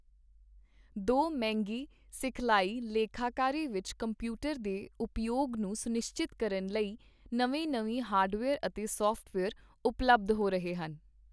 ਦੋ ਮਹਿੰਗੀ ਸਿਖਲਾਈ ਲੇਖਾਕਾਰੀ ਵਿੱਚ ਕੰਪਿਊਟਰ ਦੇ ਉਪਯੋਗ ਨੂੰ ਸੁਨਿਸ਼ਚਤ ਕਰਨ ਲਈ ਨਵੇਂ ਨਵੇਂ ਹਾਰਡਵੇਅਰ ਅਤੇ ਸੌਫਟਵੇਅਰ ਉਪਲੱਬਧ ਹੋ ਰਹੇ ਹਨ।